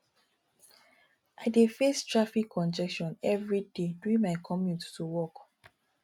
i dey face traffic congestion every day during my commute to work